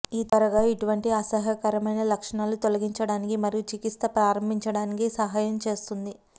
ఈ త్వరగా ఇటువంటి అసహ్యకరమైన లక్షణాలు తొలగించడానికి మరియు చికిత్స ప్రారంభించడానికి సహాయం చేస్తుంది